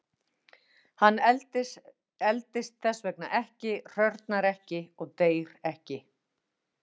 Hann eldist þess vegna ekki, hrörnar ekki og deyr ekki.